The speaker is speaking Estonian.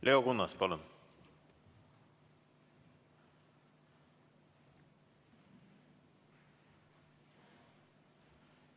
Leo Kunnas, palun!